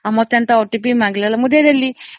ଆଉ ମୋତେ ଏମିତି OTP ମାଗିଲେ ଯେ ମୁଁ ଦେଇଦେଲି”